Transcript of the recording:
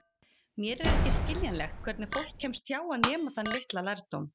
Mér er ekki skiljanlegt hvernig fólk kemst hjá að nema þann litla lærdóm.